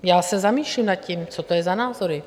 Já se zamýšlím nad tím, co to je za názory.